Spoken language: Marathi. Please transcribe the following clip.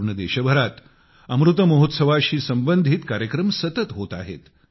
संपूर्ण देशभरात अमृत महोत्सवा शी संबंधित कार्यक्रम सतत होत आहेत